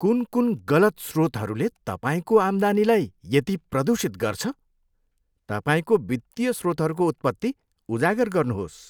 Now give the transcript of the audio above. कुन कुन गलत स्रोतहरूले तपाईँको आम्दानीलाई यति प्रदूषित गर्छ? तपाईँको वित्तीय स्रोतहरूको उत्पत्ति उजागर गर्नुहोस्।